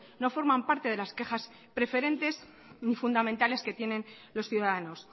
no forman parte de las quejas preferentes ni fundamentales que tienen los ciudadanos